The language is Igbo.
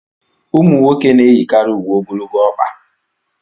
ụmụ nwoke na-eyikarị uwe ogologo ọkpa